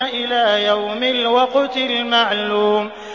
إِلَىٰ يَوْمِ الْوَقْتِ الْمَعْلُومِ